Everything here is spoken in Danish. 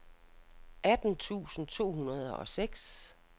atten tusind to hundrede og seks